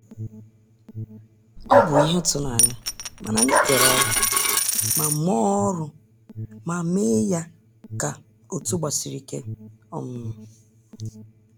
Ọ bụ ihe ịtụnanya, mana anyị kere ọrụ ma mee ọrụ ma mee ya ka otu gbasiri ike um